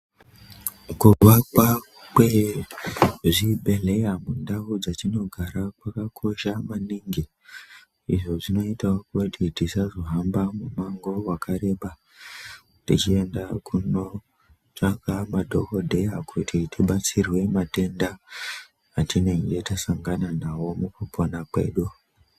Kuvakwa kwezvibhedhlera mundau dzatinogara kwakakosha maningi izvi zvinoita kuti tisazohamba mumango wakareba techiyenda kundotsvaka madhokodheya kuti tibatsirwe matenda atange tasangana nawo mukupona kwedu.